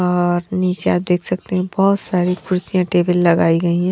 और नीचे आप देख सकते हैं बहुत सारी कुर्सियां टेबल लगाई गई हैं।